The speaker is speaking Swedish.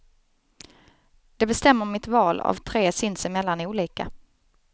Det bestämmer mitt val av tre sinsemellan olika.